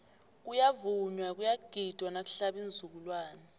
kuyavunywa kuyagidwa nakuhlaba iinzukulwani